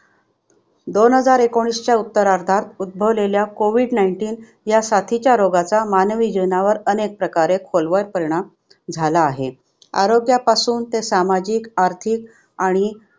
दोन हजार एकोणीसच्या उत्तरार्धात उद्धभवलेल्या कोविड nineteen ह्या साथीच्या रोगाचा मानवी जीवनावर अनेक प्रकारे खोलवर परिणाम झाला आहे. आरोग्यापासून ते सामाजिक, आर्थिक आणि